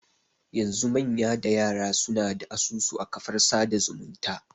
Yanzu manya da yara suna da asusu a kafar yada zumunta